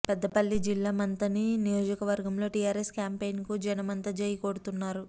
పెద్దపల్లి జిల్లా మంథని నియోజకవర్గంలో టీఆర్ఎస్ క్యాంపెయిన్ కు జనమంతా జై కొడుతున్నారు